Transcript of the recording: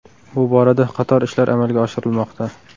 Bu borada qator ishlar amalga oshirilmoqda.